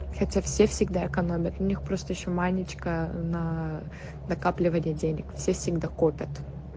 хотя все всегда экономят у них просто ещё маленечко на накапливать денег всегда копят